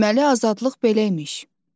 Deməli, azadlıq belə imiş.